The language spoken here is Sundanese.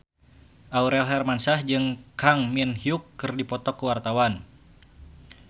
Aurel Hermansyah jeung Kang Min Hyuk keur dipoto ku wartawan